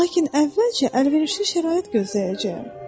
Lakin əvvəlcə əlverişli şərait gözləyəcəyəm.